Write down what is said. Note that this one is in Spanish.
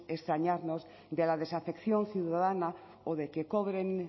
extrañarnos de la desafección ciudadana o de que cobren